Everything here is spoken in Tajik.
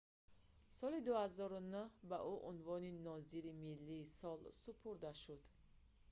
соли 2009 ба ӯ унвони нозири миллии сол супурда шуд